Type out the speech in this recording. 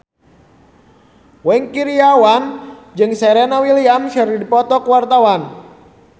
Wingky Wiryawan jeung Serena Williams keur dipoto ku wartawan